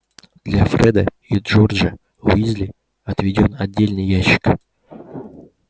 для фреда и джорджа уизли отведён отдельный ящик